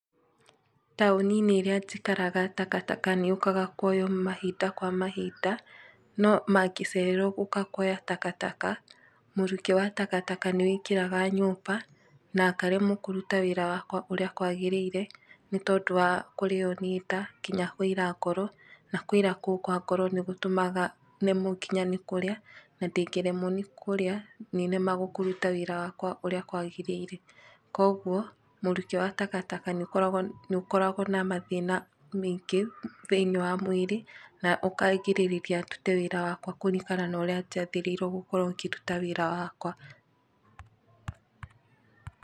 Taũni-inĩ ĩrĩa njikaraga takataka nĩ yũkaga kuoyo mahinda kwa mahinda, no mangĩcererwo gũka kuoya takataka, mũrukĩ wa takataka nĩ wĩingĩraga nyũmba, na ngaremwo kũruta wĩra wakwa ũríĩ kwagĩrĩire, nĩ tondũ wa kũrĩo nĩ nda, nginya kũira ngoro, na kũira kũu kwa ngoro nĩ gũtũmaga nemwo nginya nĩ kũrĩa ,na ndingĩremwo nĩ kũríĩ nĩ nemagwo kũruta wĩra wakwa ũríĩ kwagĩrĩire. Kuoguo mũrukĩ wa takataka nĩ ũkoragwo na mathĩna meingĩ thĩinĩ wa mwĩrĩ, na ũkagirĩrĩria ndute wĩra wakwa kũringana na ũrĩa njagĩrĩirwo gũkorwo ngĩruta wĩra wakwa.